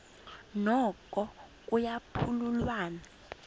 noko kuya phululwana